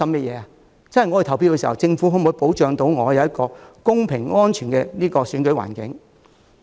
便是他們投票時，政府可否保障他們享有一個公平和安全的選舉環境。